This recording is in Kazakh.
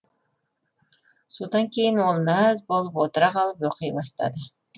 содан кейін ол мәз болып отыра қалып оқи бастады